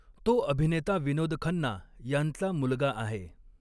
तो अभिनेता विनोद खन्ना यांचा मुलगा आहे.